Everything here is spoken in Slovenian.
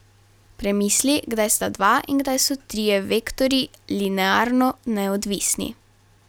Premisli, kdaj sta dva in kdaj so trije vektorji linearno neodvisni.